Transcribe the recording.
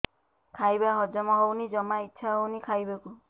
ଖାଇବା ହଜମ ହଉନି ଜମା ଇଛା ହଉନି ଖାଇବାକୁ